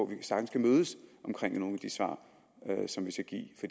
vi sagtens kan mødes omkring nogle af de svar som der skal gives